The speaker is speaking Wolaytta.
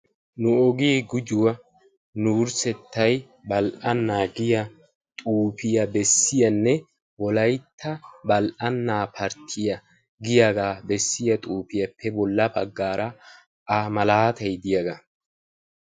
"Nu ogee gujuwaa nu wurssettay badhdhannaa" giyaa xuufiya beessiyaanne "wolaytta badhdhannaa parttiyaa" giyaagaa bessiyaa xuufiyaappe bolla baggaara A malaatay diyaagaa.